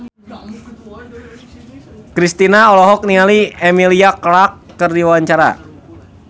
Kristina olohok ningali Emilia Clarke keur diwawancara